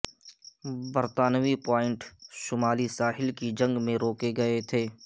برطانوی پوائنٹ شمالی ساحل کی جنگ میں روکے گئے تھے